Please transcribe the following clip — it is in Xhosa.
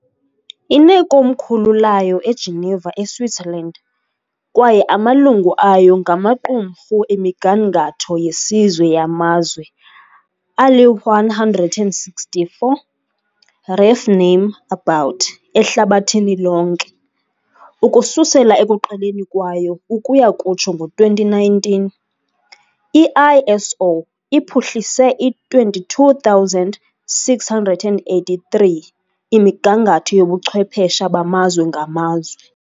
Inekomkhulu layo eGeneva, eSwitzerland, kwaye amalungu ayo ngamaqumrhu emigangatho yesizwe yamazwe ali-164 ref name about ehlabathini lonke. Ukususela ekuqaleni kwayo ukuya kutsho ngo-2019, i-ISO iphuhlise i-22 683 imigangatho yobuchwephesha bamazwe ngamazwe.